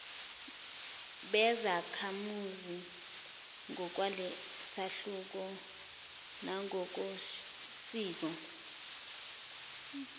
bezakhamuzi ngokwalesahluko nangokosiko